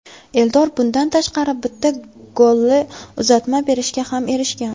Eldor bundan tashqari bitta golli uzatma berishga ham erishgan.